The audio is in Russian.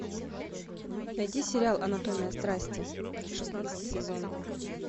найди сериал анатомия страсти шестнадцатый сезон